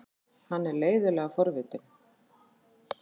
Hann er leiðinlega forvitinn.